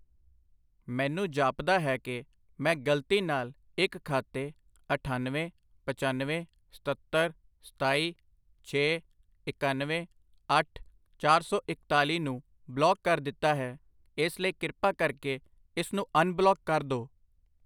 ਮੈਨੂੰ ਜਾਪਦਾ ਹੈ ਕਿ ਮੈਂ ਗਲਤੀ ਨਾਲ ਇੱਕ ਖਾਤੇ ਅਠਾਨਵੇਂ, ਪਚੱਨਵੇਂ, ਸਤੱਤਰ, ਸਤਾਈ, ਛੇ, ਇਕਾਨਵੇਂ, ਅੱਠ, ਚਾਰ ਸੌ ਇਕਤਾਲੀ ਨੂੰ ਬਲੌਕ ਕਰ ਦਿੱਤਾ ਹੈ ਇਸਲਈ ਕਿਰਪਾ ਕਰਕੇ ਇਸਨੂੰ ਅਨਬਲੌਕ ਕਰ ਦੋ।